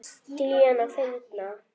Díana fyndna.